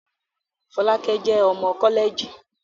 Fọlákẹ́ jẹ́ ọmọ kọ́lẹ̀ẹ̀jì